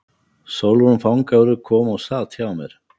Sólrún fangavörður kom og sat hjá mér.